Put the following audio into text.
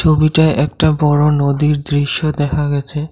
ছবিটায় একটা বড় নদীর দৃশ্য দেখা গেছে।